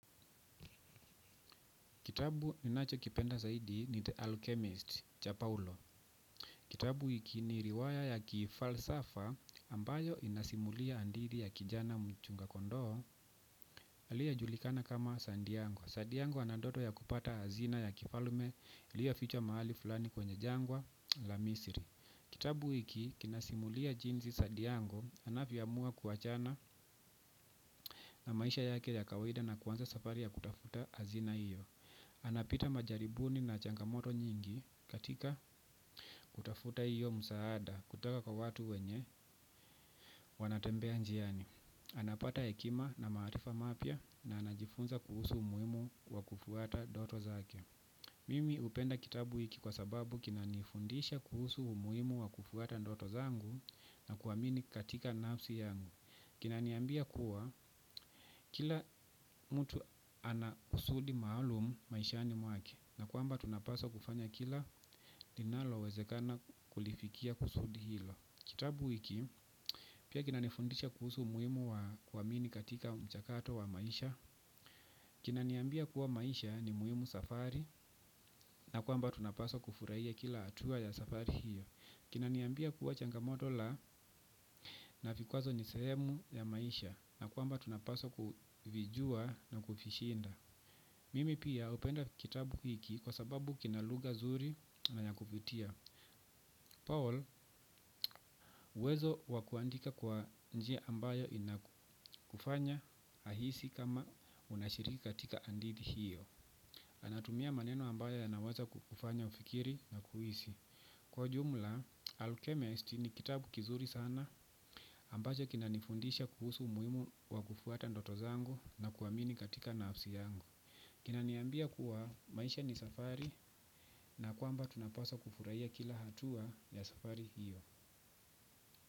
Kitabu ninacho kipenda zaidi ni The Alchemist, cha Paulo. Kitabu hiki ni riwaya ya kifalsafa ambayo inasimulia hadithi ya kijana mchunga kondoo aliyejulikana kama Sandiango. Sandiango anandoto ya kupata hazina ya kifalme iliyofichwa mahali fulani kwenye jangwa la Misiri. Kitabu hiki kinasimulia jinsi Sandiango anavyoamua kuachana na maisha yake ya kawaida na kuanza safari ya kutafuta hazina hiyo. Anapita majaribuni na changamoto nyingi katika kutafuta hiyo msaada kutoka kwa watu wenye wanatembea njiani. Anapata hekima na maarifa mapya na anajifunza kuhusu umuhimu wa kufuata ndoto zake. Mimi hupenda kitabu hiki kwa sababu kina nifundisha kuhusu umuhimu wa kufuata ndoto zangu na kuamini katika nafsi yangu. Kinaniambia kuwa kila mtu ana kusudi maalumu maishani mwake na kwamba tunapaswa kufanya kila linalowezekana kulifikia kusudi hilo. Kitabu hiki pia kinanifundisha kuhusu umuhimu wakuamini katika mchakato wa maisha. Kina niambia kuwa maisha ni muhimu safari na kwamba tunapaswa kufurahia kila hatua ya safari hiyo. Kina niambia kuwa changamoto la na vikwazo ni sehemu ya maisha na kwamba tunapaswa kuvijua na kuvishinda. Mimi pia hupenda kitabu hiki kwa sababu kina lugha zuri na na ya kuvutia Paul wezo wa kuandika kwa njia ambayo inakufanya ahisi kama unashiriki katika hadithi hiyo. Anatumia maneno ambayo yanaweza kufanya ufikiri na kuhisi. Kwa jumla, Alchemist ni kitabu kizuri sana ambacho kina nifundisha kuhusu umuhimu wa kufuata ndoto zangu na kuamini katika nafsi yangu. Kina niambia kuwa maisha ni safari na kwamba tunapaswa kufurahia kila hatua ya safari hiyo.